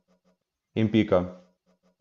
In pika.